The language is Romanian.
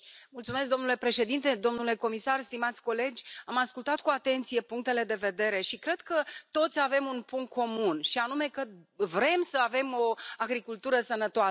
Domnule președinte, domnule comisar, stimați colegi, am ascultat cu atenție punctele de vedere și cred că toți avem un punct comun, și anume că vrem să avem o agricultură sănătoasă.